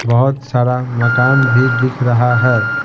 बहोत सारा मकान भी दिख रहा है।